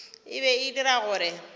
e be e dira gore